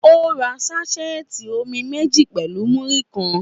Ó ra ṣásẹẹti omi méjì pẹ̀lú múrí kan